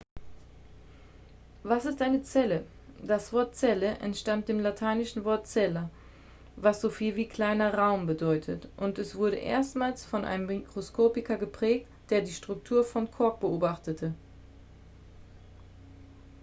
was ist eine zelle das wort zelle entstammt dem lateinischen wort cella was so viel wie kleiner raum bedeutet und es wurde erstmals von einem mikroskopiker geprägt der die struktur von kork beobachtete